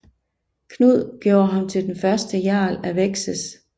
Knud gjorde ham til den første jarl af Wessex